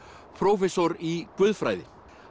prófessor í guðfræði